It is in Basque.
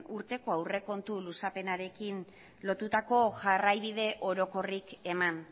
urteko aurrekontu luzapenarekin lotutako jarraibideorokorrik eman